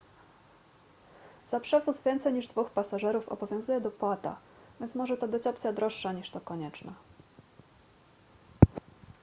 za przewóz więcej niż 2 pasażerów obowiązuje dopłata więc może to być opcja droższa niż to konieczne